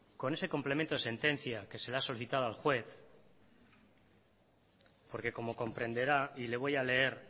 con ese complemento de sentencia que se le ha solicitado al juez porque como comprenderá y le voy a leer